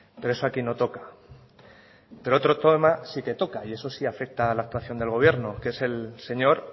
pero eso aquí no toca pero otro tema sí que toca y eso sí afecta a la actuación del gobierno que es el señor